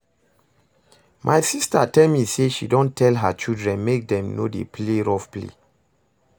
My sister tell me say she don tell her children make dem no dey play rough play